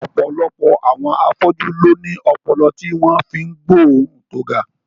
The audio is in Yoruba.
Ọ̀pọ̀lọpọ̀ àwọn afọ́jú ló ní ọpọlọ tí wọ́n fi ń gbóòórùn tó ga